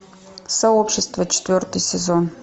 сообщество четвертый сезон